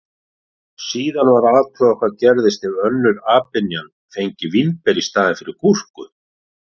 Síðan var athugað hvað gerðist ef önnur apynjan fengi vínber í staðinn fyrir gúrku.